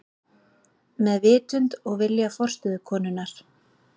Með vitund og vilja forstöðukonunnar.